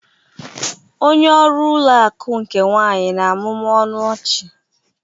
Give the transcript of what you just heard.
onye ọrụ ụlọ akụ nke nwanyị na-amụmụ ọnụ ọchị